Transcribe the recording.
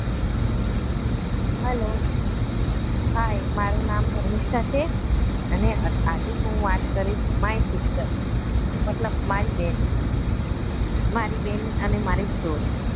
hello hi મારું નામ ધર્મિષ્ઠા છે અને આજે હું વાત કરીશ my sister મતલબ મારી બેન મારે બેન અને મારી story